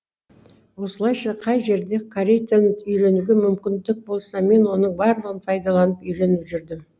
осылайша қай жерде корей тілін үйренуге мүмкіндік болса мен оның барлығын пайдаланып үйреніп жүрдім